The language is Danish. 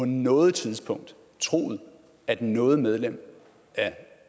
noget tidspunkt troet at noget medlem af